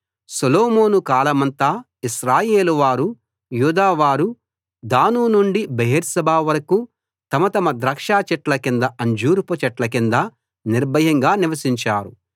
సొలొమోను కాలమంతా ఇశ్రాయేలు వారూ యూదా వారూ దాను నుండి బెయేర్షెబా వరకూ తమ తమ ద్రాక్షచెట్ల కిందా అంజూరపు చెట్ల కిందా నిర్భయంగా నివసించారు